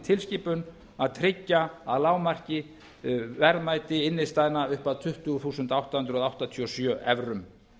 tilskipun að tryggja að lágmarki verðmæti innstæðna upp að tuttugu þúsund átta hundruð áttatíu og sjö evrum